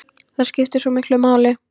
Það skiptir svo miklu máli.